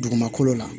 Dugumakolo la